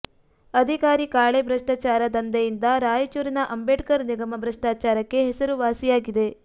ಅಧಿಕಾರಿ ಕಾಳೆ ಭ್ರಷ್ಟಾಚಾರ ದಂಧೆಯಿಂದ ರಾಯಚೂರಿನ ಅಂಬೇಡ್ಕರ್ ನಿಗಮ ಭ್ರಷ್ಟಾಚಾರಕ್ಕೆ ಹೆಸರುವಾಸಿಯಾಗಿದೆ